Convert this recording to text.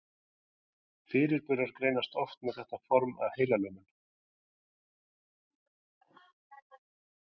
Fyrirburar greinast oft með þetta form af heilalömun.